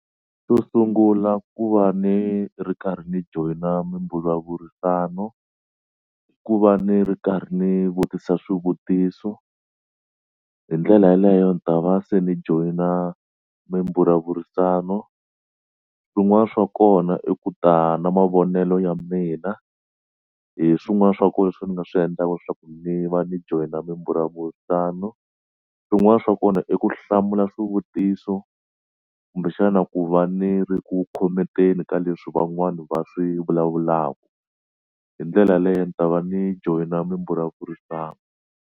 Xo sungula ku va ni ri karhi ni joyina mimbulavurisano hi ku va ni ri karhi ni vutisa swivutiso hi ndlela yeleyo ni ta va se ni joyina mimbulavurisano swin'wana swa kona i ku ta na mavonelo ya mina hi swin'wana swa kona leswi ni nga swi endlaka swa ku ni va ni joyina mimbulavurisano swin'wana swa kona i ku hlamula swivutiso kumbexana ku va ni ri ku khomenteni ka leswi van'wani va swi vulavulaka hi ndlela yaleyo ni ta va ni joyina mimbulavurisano.